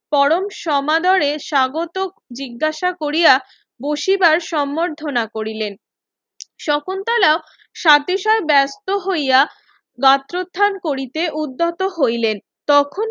পরম সমাদরে স্বাগত জিজ্ঞাসা কোরিয়া বসিবার সম্বর্ধনা করিলেন শকুন্তলাও সাতিশয় বেস্ত হইয়া গাত্রোত্থান করিতে উদ্ধত হইলেন তখন